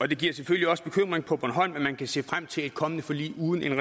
det giver selvfølgelig også bekymring på bornholm at man kan se frem til et kommende forlig uden